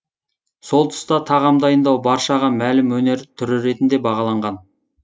сол тұста тағам дайындау баршаға мәлім өнер түрі ретінде бағаланған